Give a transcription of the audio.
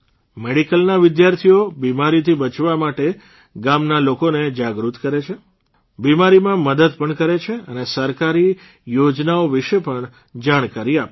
મેડીકલના વિદ્યાર્થીઓ બીમારીથી બચવા માટે ગામના લોકોને જાગૃત કરે છે બીમારીમાં મદદ પણ કરે છે અને સરકારી યોજનાઓ વિશે પણ જાણકારી આપે છે